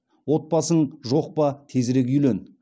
отбасың жоқ па тезірек үйлен